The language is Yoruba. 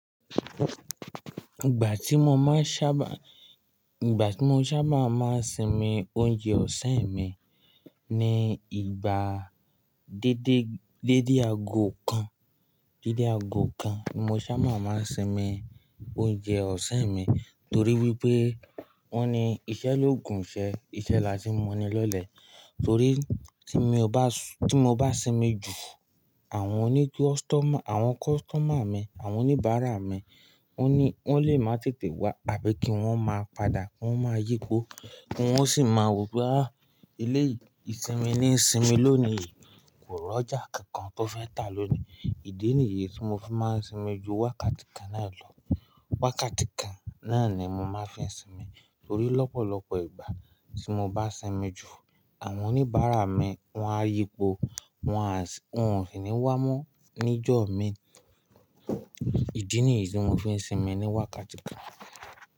Ìgbà tí mo máa ń sábà, ìgbà tí mo sábà máa ń sinmi oúnjẹ ọ̀sán mi ni ìgbà dédé, dédé aago kan, dédé aago kan ni mo sábà máa ń sinmi oúnjẹ ọ̀sán mi torí wípé wọ́n ni iṣẹ́ lóògùn ìṣẹ́, iṣẹ́ là tí mo ní lọ́lẹ̀, torí tí mo bá s- tí mo bá sinmi jù àwọn oní kọstọ́mà- àwọn kọstọ̀mà mi, àwọn oníbàárà mi wọ́n ní wọ́n lè máa tètè wá àbí kí wọ́n máa padà wọ́n máa yípo, kí wọ́n sì máa rò pé ah eléyìí sinmi ní sinmi lónìí kò rọ́jà kankan tó fẹ́ tà lónìí. Ìdí nìyí tí mo fi máa ń sinmi ju wákàtí kan náà lọ. Wákàtí kan náà ni mo máa ń fi sinmi torí lọ́pọ̀lọpọ̀ ìgbà tí mo bá sinmi jù àwọn oníbàárà mi wọ́n á yípo, wọn á sì, wọn ò sì ní wá mọ́ níjọ́ mi. Ìdí nìyí tí mo fi ń sinmi ní wákàtí kan.